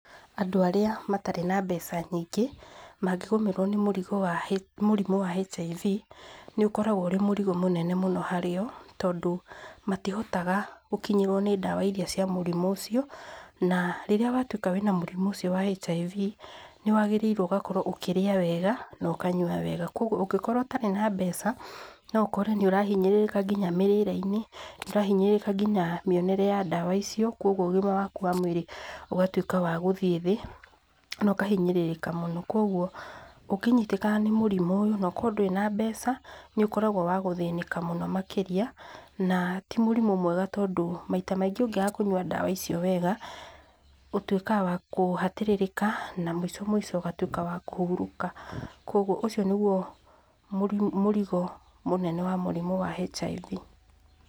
Andũ arĩa matarĩ na mbeca nyingĩ mangĩgomerwo nĩ mũrimũ wa HIV, nĩ ũkoragwo ũrĩ mũrigo mũnene mũno harĩ o, tondũ matihotaga gũkinyĩrwo nĩ ndawa iria cia mũrimũ ũcio na rĩrĩa watwĩka wĩna mũrimũ ũcio wa HIV nĩ wagĩrĩire gũkorwo ũkĩrĩa wega na ũkanyua wega. Kogwo, ũngĩkorwo ũtarĩ na mbeca no ũkore nĩ ũrahinyĩrĩrĩka nginya mĩrĩreinĩ, nĩ ũrahinyĩrĩrĩka nginya mĩonere ya ndawa icio kogwo ũgima waku wa mwĩrĩ ugatwĩka wa gũthiĩ thĩ na ũkahinyĩrĩrĩka mũno. Kogwo, ũngĩnyitĩkana nĩ mũrimũ ũcio na ũkorwo ndũrĩ na mbeca nĩ ũkoragwo wa gũthĩnĩka mũno makĩria, na ti mũrimũ mwega tondũ maita maingĩ ũngĩaga kũnyua ndawa icio wega, ũtwĩkaga wa kũhatĩrĩrĩka na mwĩco mwĩco ũgatwĩka wa kũhurũka. Kogwo, ũcio nĩguo mũrigo mũnene wa mũrimũ wa HIV.